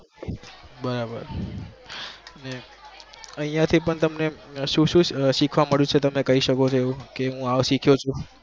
બરાબર અહિયાં થી પણ તમને સુ સીખવા મળ્યું છે